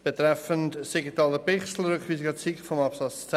Mit dem Rückweisungsantrag Siegenthaler/Bichsel zu Artikel 10 Absatz 2